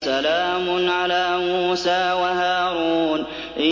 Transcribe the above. سَلَامٌ عَلَىٰ مُوسَىٰ وَهَارُونَ